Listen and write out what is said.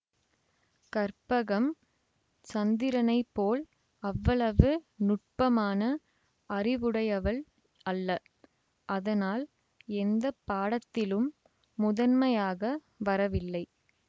கற்பகம் சந்திரனைப்போல் அவ்வளவு நுட்பமான அறிவுடையவள் அல்ல அதனால் எந்த பாடத்திலும் முதன்மையாக வரவில்லை